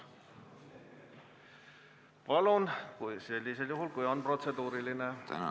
Saate sõna võtta ainult sellisel juhul, kui teil on protseduuriline küsimus!